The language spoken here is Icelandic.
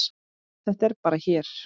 Þetta er bara hér.